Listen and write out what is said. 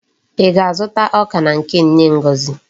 Í ga-azụta ọka na nke nne Ngozi?